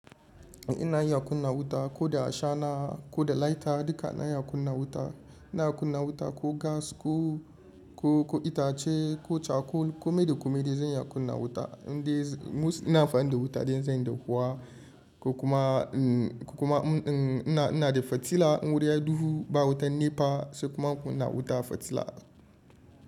Ina iya kunna wuta ko da a shana ko da lighter duka na iya kunna wuta. Ina kunna wuta ko gas ko, ko, ko itace ko cakol. Kome da kome zan iya kunna wuta. Inde ina amfani da da wuta dai in zan yi dahuwa ko kuma, kuma ina, ina da fitila in wuri yayi duhu ba wutan NEPA, sai kuma in kunna wuta fitila.